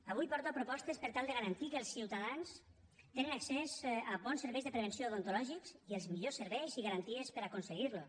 avui porto propostes per tal de garantir que els ciutadans tinguin accés a bons serveis de prevenció odontològics i els millors serveis i garanties per aconseguir los